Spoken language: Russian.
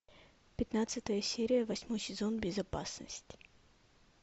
пятнадцатая серия восьмой сезон безопасность